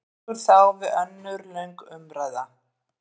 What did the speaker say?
Tekur þá við önnur löng umræða?